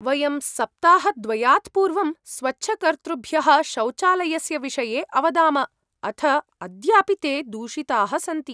वयं सप्ताहद्वयात् पूर्वं स्वच्छकर्तृभ्यः शौचालयस्य विषये अवदाम अथ अद्यापि ते दूषिताः सन्ति।